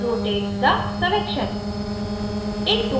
rotate the selection